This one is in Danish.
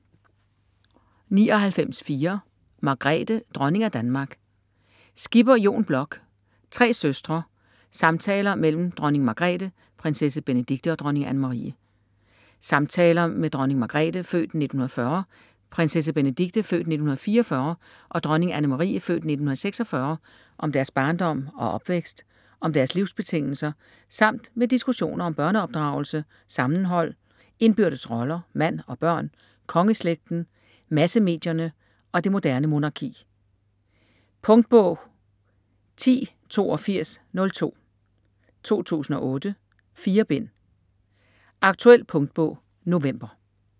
99.4 Margrethe: dronning af Danmark Skipper, Jon Bloch: Tre søstre: samtaler mellem dronning Margrethe, prinsesse Benedikte og dronning Anne-Marie Samtaler med dronning Margrethe (f. 1940), prinsesse Benedikte (f. 1944) og dronning Anne-Marie (f. 1946) om deres barndom og opvækst, om deres livsbetingelser, samt med diskussioner om børneopdragelse, sammenhold, indbyrdes roller, mand og børn, kongeslægten, massemedierne og det moderne monarki. Punktbog 108202 2008. 4 bind. Aktuel punktbog november